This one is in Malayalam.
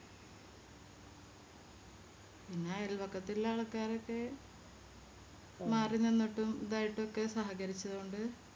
പിന്നെ അയൽ വക്കത്തുള്ള ആൾക്കാരൊക്കെ മാറിനിന്നിട്ടും ഇതായിട്ടൊക്കെ സഹകരിച്ചതു കൊണ്ട്